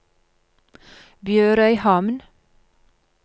BjørØyhamn